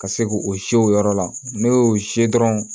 Ka se k'o o si o yɔrɔ la n'o y'o se dɔrɔn